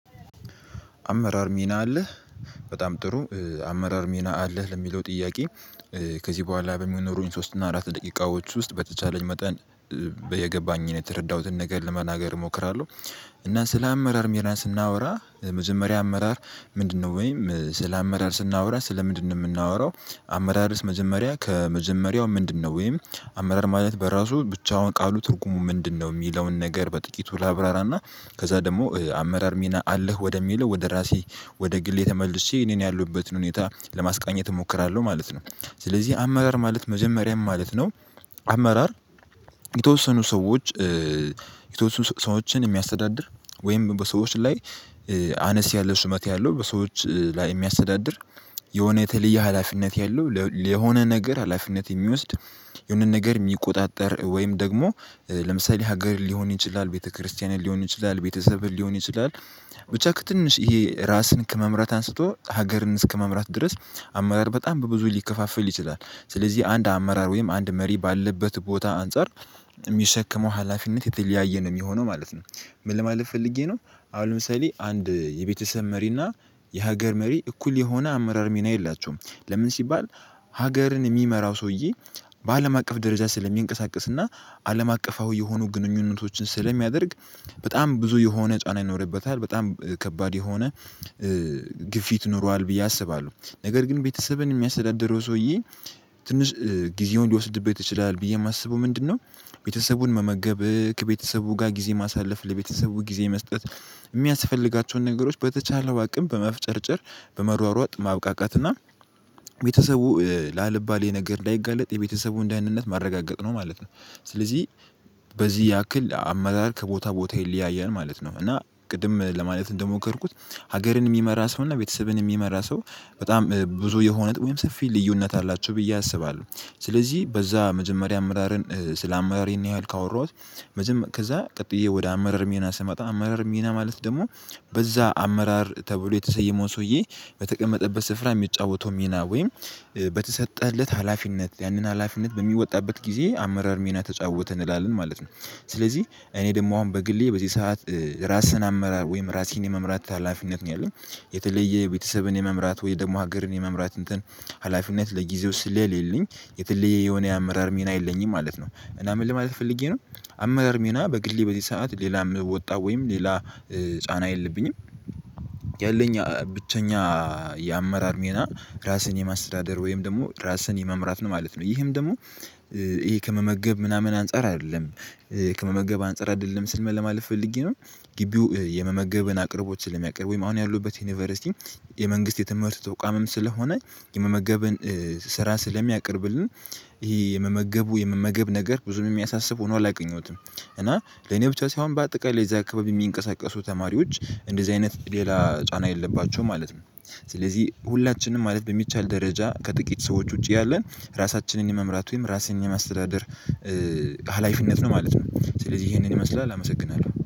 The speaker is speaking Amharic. አመራር ሚና አለህ በጣም ጥሩ አመራር ሚና አለህ ለሚለው ጥያቄ ከዚህ በኋላ በሚኖሩኝ ሶስት እና አራት ደቂቃዎች ውስጥ በተቻለኝ መጠን የገባኝን የተረዳሁትን ነገር ለመናገር እሞክራለሁ። እና ስለ አመራር ሜራን ስናወራ መጀመሪያ አመራር ምንድነው ወይም ስለ አመራር ስናወራ ስለ ምንድነው የምናወራው? አመራርስ መጀመሪያ ከመጀመሪያው ምንድነው ወይም አመራር ማለት በራሱ ብቻውን ቃሉ ትርጉሙ ምንድነው? የሚለውን ነገር በጥቂቱ ላብራራና ከዛ ደግሞ አመራር ሚና አለህ ወደሚለው ወደ ራሴ ወደ ግሌ ተመልሼ እኔን ያሉበትን ሁኔታ ለማስቀኘት እሞክራለሁ ማለት ነው። ስለዚህ አመራር ማለት መጀመሪያ ምን ማለት ነው ማለት ነው አመራር። የተወሰኑ ሰዎች የተወሰኑ ሰዎችን የሚያስተዳድር ወይም በሰዎች ላይ አነስ ያለው ቩመት ያለው በሰዎች ላይ የሚያስተዳድር የሆነ የተለየ ሀላፊነት ያለው የሆነ ነገር ሀላፊነት የሚወስድ የሆነ ነገር የሚቆጣጠር ወይም ደግሞ ለምሳሌ ሀገር ሊሆን ይችላል ቤተክርስቲያንህ ሊሆን ይችላል ቤተሰብህ ሊሆን ይችላል። ብቻ ትንሽ ይሄ ራስን ከመምራት አንስቶ ሀገርን እስከመምራት ድረስ አመራር በጣም በብዙ ሊከፋፈል ይችላል ስለዚህ አንድ አመራር ወይም አንድ መሪ ባለበት ቦታ አንፃር የሚሸክመው ሀላፊነት የተለያየ ነው የሚሆነው ማለት ነው። ምን ለማለት ፈልጌ ነው? አሁን ለምሳሌ አንድ የቤተሰብ መሪና የሀገር መሪ እኩል የሆነ አመራር ሚና የላቸውም። ለምን ሲባል ሀገርን የሚመራው ሰውዬ በአለም አቀፍ ደረጃ ስለሚንቀሳቀስ እና አለም አቀፋዊ የሆኑ ግንኙነቶችን ስለሚያደርግ በጣም ብዙ የሆነ ጫና ይኖርበታል በጣም ከባድ የሆነ ግፊት ይኖረዋል ብዬ አስባለሁ ነገር ግን ቤተሰብን የሚያስደድረው ሰውዬ ትንሽ ጊዜውን ሊወስድበት ይችላል ብዬ የማስበው ምንድነው? ቤተሰቡን መመገብ ከቤተሰቡ ጋር ጊዜ ማሳለፍ ለቤተሰቡ ጊዜ መስጠት የሚያስፈልጋቸውን ነገሮች በተቻለው አቅም በመፍጨርጨር በመሯሯጥ ማብቃቃት እና ቤተሰቡ ላለባሌ ነገር እንዳይጋለጥ የቤተሰቡን ደህንነት ማረጋገጥ ነው ማለት ነው። ስለዚህ በዚህ ያክል አመራር ከቦታ ቦታ ይለያያል ማለት ነው። እና ቅድም ለማለት እንደሞከርኩት ሀገርን የሚመራ ሰው እና ቤተሰብን የሚመራ ሰው በጣም ብዙ የሆነ ወይም ሰፊ ልዩነት አላቸው ብዬ አስባለሁ። ስለዚህ በዛ መጀመሪያ አመራርን ስለ አመራር ይህን ያህል ካወራሁት ከዛ ቀጥዬ ወደ አመራር ሚና ስመጣ አመራር ሚና ማለት ደግሞ በዛ አመራር ተብሎ የተሰየመውን ሰውዬ በተቀመጠበት ስፍራ የሚጫወተው ሚና ወይም በተሰጠህለት ሀላፊነት ያንን ሀላፊነት በሚወጣበት ጊዜ አመራር ሚና ተጫወተ እንላለን ማለት ነው። ስለዚህ እኔ ደግሞ አሁን በግሌ በዚህ ሰዓት ራስን አመራር ወይም ራስን የመምራት ታላፊነት ነው ያለው የተለየ የቤተሰብን የመምራት ወይ ደግሞ ሀገርን የመምራት እንትን ሀላፊነት ለጊዜው ስለሌለኝ የተለየ የሆነ የአመራር ሚና የለኝም ማለት ነው። እና ምን ለማለት ፈልጌ ነው? አመራር ሚና በግሌ በዚህ ሰዓት ሌላ ወጣ ወይም ሌላ ጫና የለብኝም። ያለኝ ብቸኛ የአመራር ሜና ራስን የማስተዳደር ወይም ደግሞ ራስን የመምራት ነው ማለት ነው። ይህም ደግሞ ይሄ ከመመገብ ምናምን አንፃር አይደለም ከመመገብ አንፃር አይደለም ስል ምን ለማለት ፈልጌ ነው? ግቢው የመመገብን አቅርቦችን ለመቀር ወይም አሁን ያሉበት ዩኒቨርሲቲ የመንግስት የተመረጡ ተቋምም ስለሆነ የመመገብን ስራ ስለሚያቅርብልን ይሄ የመመገቡ የመመገብ ነገር ብዙም የሚያሳስብ ሆኖ አላውቀኘሁትም እና ለኔ ብቻ ሳይሆን በአጠቃላይ ለዛ አካባቢ የሚንቀሳቀሱ ተማሪዎች እንደዚህ አይነት ሌላ ጫና የለባቸውም ማለት ነው። ስለዚህ ሁላችንም ማለት በሚቻል ደረጃ ከጥቂት ሰዎች ውጪ ያለን ራሳችንን የመምራት ወይም ራስን የማስተዳደር ሀላፊነት ነው ማለት ነው። ስለዚህ ይሄንን ይመስላል አመሰግናለሁ